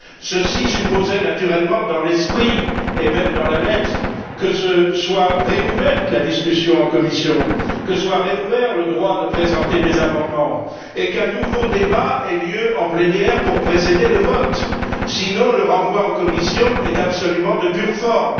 Ceci supposait naturellement, dans l'esprit et même dans la lettre, que soit rouverte la discussion en commission, que soit rouvert le droit de présenter des amendements et qu'un nouveau débat ait lieu en plénière pour précéder le vote. Sinon, le renvoi en commission est absolument de pure forme.